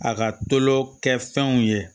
A ka tulo kɛ fɛnw ye